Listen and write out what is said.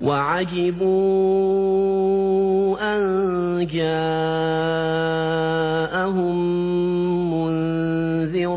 وَعَجِبُوا أَن جَاءَهُم مُّنذِرٌ